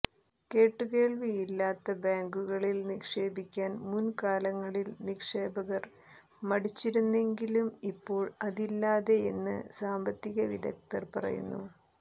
കേട്ടുകേൾവിയില്ലാത്ത ബാങ്കുകളിൽ നിക്ഷേപിക്കാൻ മുൻകാലങ്ങളിൽ നിക്ഷേപകർ മടിച്ചിരുന്നെങ്കിലും ഇപ്പോൾ അതില്ലാതായെന്ന് സമ്പത്തിക വിദഗ്ദ്ധർ പറയുന്നു